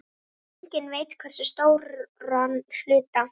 Enginn veit hversu stóran hluta.